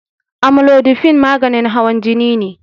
Amlodipine maganin hawan jini ne